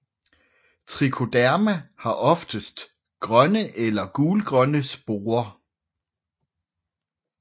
Trichoderma har oftest grønne eller gulgrønne sporer